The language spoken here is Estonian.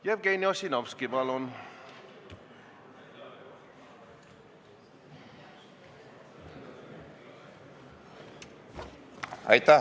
Jevgeni Ossinovski, palun!